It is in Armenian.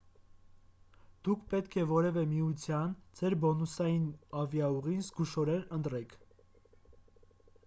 դուք պետք է որևէ միության ձեր բոնուսային ավիաուղին զգուշորեն ընտրեք